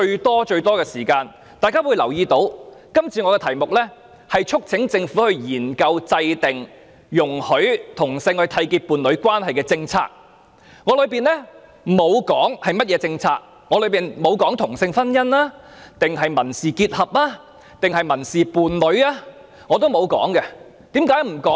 大家可以留意到，今次的議案題目是促請政府"研究制訂讓同志締結伴侶關係的政策"，當中並沒有說明是甚麼政策，也沒有提出同性婚姻、民事結合或民事伴侶等建議，為何要這樣處理呢？